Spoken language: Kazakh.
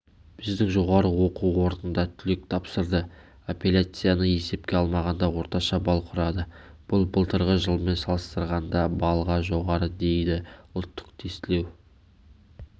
біздің жоғары оқу орнында түлек тапсырды апелляцияны есепке алмағанда орташа балл құрады бұл былтырғы жылмен салыстырғанда балға жоғары дейді ұлттық тестілеу